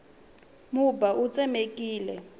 mubya wu tsemekile